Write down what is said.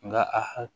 Nka a ha